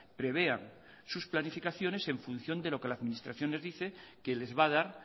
prevean sus planificaciones en función de lo que la administración les dice que les va a dar